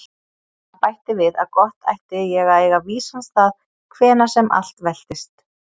Hann bætti við að gott ætti ég að eiga vísan stað hvenær sem allt veltist.